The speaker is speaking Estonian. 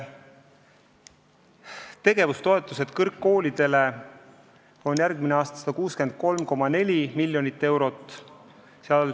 Tegevustoetused kõrgkoolidele on järgmisel aastal 163,4 miljonit eurot.